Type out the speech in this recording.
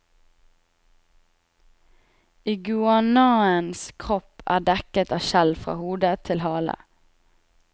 Iguanaens kropp er dekket av skjell fra hode til hale.